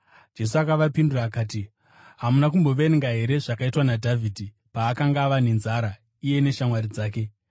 Jesu akavapindura akati, “Hamuna kumboverenga here zvakaitwa naDhavhidhi paakanga ava nenzara, iye neshamwari dzake?